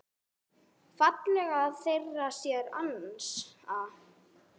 fallega þeir sér ansa.